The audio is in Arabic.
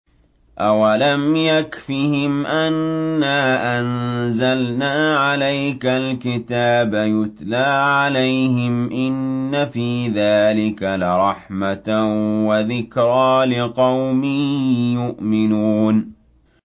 أَوَلَمْ يَكْفِهِمْ أَنَّا أَنزَلْنَا عَلَيْكَ الْكِتَابَ يُتْلَىٰ عَلَيْهِمْ ۚ إِنَّ فِي ذَٰلِكَ لَرَحْمَةً وَذِكْرَىٰ لِقَوْمٍ يُؤْمِنُونَ